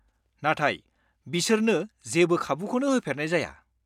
नाथाय बिसोरनो जेबो खाबुखौनो होफेरनाय जाया।